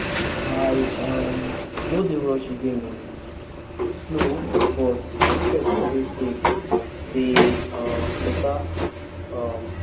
i um no dey rush again o— slow but make person dey safe dey um better. um